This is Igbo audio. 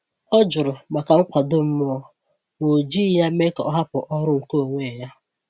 Ọ jụrụ maka nkwado mmụọ, ma o jighị ya mee ka ọ hapụ ọrụ nke onwe ya.